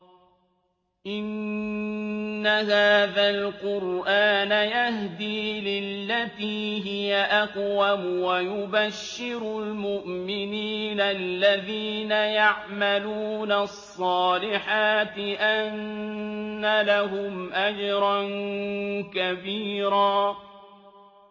إِنَّ هَٰذَا الْقُرْآنَ يَهْدِي لِلَّتِي هِيَ أَقْوَمُ وَيُبَشِّرُ الْمُؤْمِنِينَ الَّذِينَ يَعْمَلُونَ الصَّالِحَاتِ أَنَّ لَهُمْ أَجْرًا كَبِيرًا